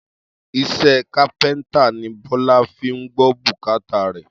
Is̩é̩ kápé̩ńtà ni Bó̩lá fi ń gbó̩ bùkátà rè̩